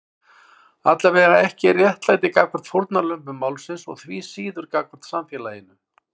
Allavega ekki réttlæti gagnvart fórnarlömbum málsins og því síður gagnvart samfélaginu.